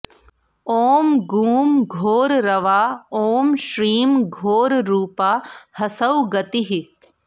ॐ गूं घोररवा ॐ श्रीं घोररूपा हसौः गतिः